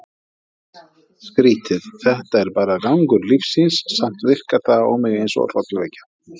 Skrítið, þetta er bara gangur lífsins, samt virkar það á mig eins og hrollvekja.